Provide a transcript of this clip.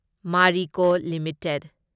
Marico limited